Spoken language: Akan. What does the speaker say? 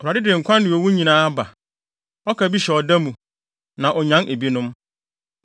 “ Awurade de nkwa ne owu nyinaa ba; Ɔka bi hyɛ ɔda mu, na onyan ebinom.